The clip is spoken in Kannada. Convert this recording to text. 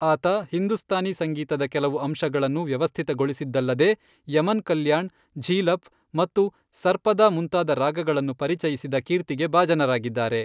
ಆತ ಹಿಂದೂಸ್ತಾನಿ ಸಂಗೀತದ ಕೆಲವು ಅಂಶಗಳನ್ನು ವ್ಯವಸ್ಥಿತಗೊಳಿಸಿದ್ದಲ್ಲದೇ ಯಮನ್ ಕಲ್ಯಾಣ್, ಝೀಲಫ್ ಮತ್ತು ಸರ್ಪದಾ ಮುಂತಾದ ರಾಗಗಳನ್ನು ಪರಿಚಯಿಸಿದ ಕೀರ್ತಿಗೆ ಭಾಜನರಾಗಿದ್ದಾರೆ.